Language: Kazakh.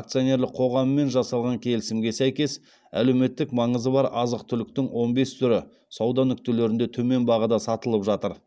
акционерлік қоғамымен жасалған келісімге сәйкес әлеуметтік маңызы бар азық түліктің он бес түрі сауда нүктелерінде төмен бағада сатылып жатыр